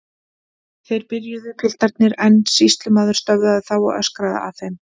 Þeir byrjuðu piltarnir en sýslumaður stöðvaði þá og öskraði að þeim